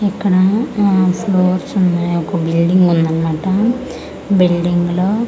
ఇక్కడ ఆ ఫ్లోర్స్ ఉన్నై ఒక బిల్డింగ్ ఉందన్నమాట బిల్డింగ్లో --